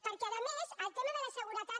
perquè a més el tema de la seguretat